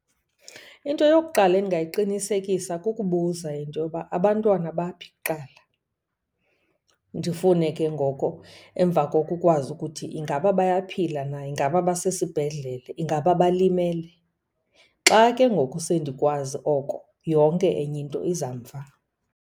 Into yokuqala endingayiqinisekisa kukubuza into yoba abantwana baphi kuqala. Ndifune ke ngoko emva koko ukwazi ukuthi ingaba bayaphila na, ingaba basesibhedlele, ingaba balimele. Xa ke ngoku sendikwazi oko yonke enye into iza mva.